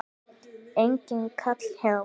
Enginn kall hjá